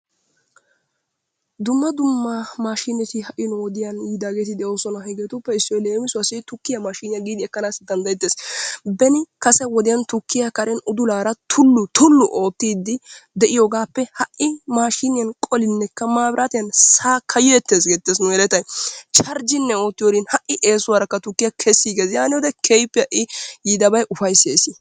Dumma dumma mashineti hai nu wodiyan yiidageti deosona. Hegeetuppe issoy leemisuwasi tukkiya maashiniya gidi ekanasi danddayetees. Beni kase wodiyan tukkiya karen udulaara tulu tulu oottidi deiyogappe hai maashiniyan qolineka maabirtiyan sakkayetees getees nu yelettay. Chargine ootiyorin ha'i eesuwaraka tukkiya keesigees. Yaaniyode keehippe ha'i yiidabay ufaysees.